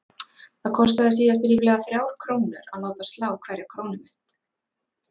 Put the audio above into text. Það kostaði síðast ríflega þrjár krónur að láta slá hverja krónumynt.